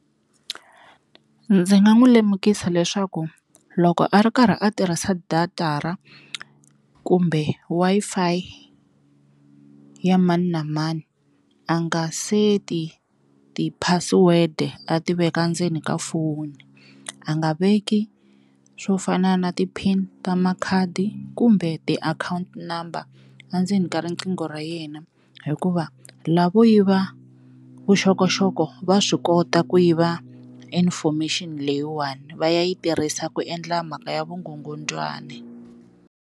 Ndzi nga n'wu lemukisa leswaku loko a ri karhi a tirhisa data ra kumbe Wi-Fi ya mani na mani a nga seti ti-password-e a ti veka ndzeni ka foni, a nga veki swo fana na ti-pin ta makhadi kumbe ti-account number a ndzeni ka riqingho ra yena hikuva lavo yiva vuxokoxoko va swi kota ku yiva information leyiwani va ya yi tirhisa ku endla mhaka ya vukungundzwani.